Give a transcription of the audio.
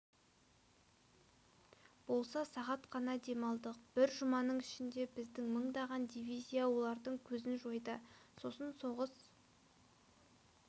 болса сағат қана демалдық бір жұманың ішінде біздің мыңдаған дивизия олардың көзін жойды сосын соғыс